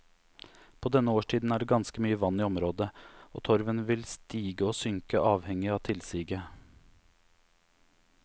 På denne årstiden er det ganske mye vann i området, og torven vil stige og synke avhengig av tilsiget.